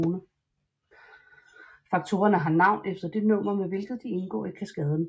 Faktorerne har navn efter det nummer med hvilket de indgår i kaskaden